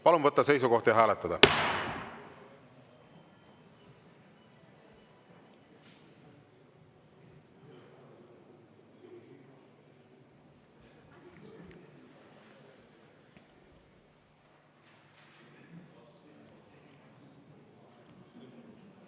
Palun võtta seisukoht ja hääletada!